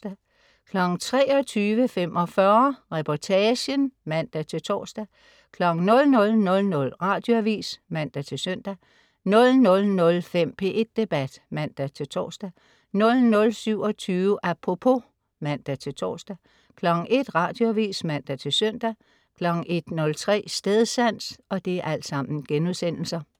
23.45 Reportagen* (man-tors) 00.00 Radioavis (man-søn) 00.05 P1 Debat* (man-tors) 00.27 Apropos* (man-tors) 01.00 Radioavis (man-søn) 01.03 Stedsans*